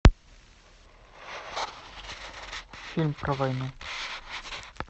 фильм про войну